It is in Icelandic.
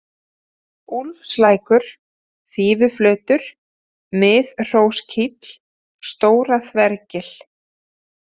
Úlfslækur, Fífuflötur, Miðhróskíll, Stóra-Þvergil